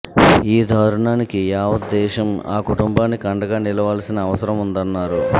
ఈ దారుణానికి యావత్ దేశం ఆ కుటుంబానికి అండగా నిలవాల్సిన అవసరముందన్నారు